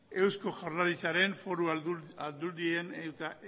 eusko jaurlaritzaren foru aldundien eta